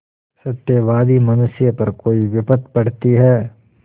सत्यवादी मनुष्य पर कोई विपत्त पड़ती हैं